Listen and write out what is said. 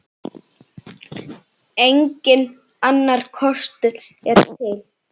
Enginn annar kostur er til.